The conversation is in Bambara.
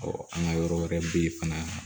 an ka yɔrɔ wɛrɛ bɛ yen fana